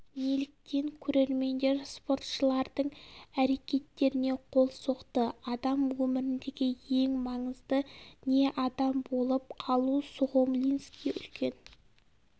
неліктен көрермендер спортшылардың әрекеттеріне қол соқты адам өміріндегі ең маңызды не адам болып қалу сухомлинский үлкен